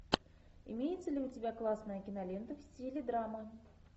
имеется ли у тебя классная кинолента в стиле драма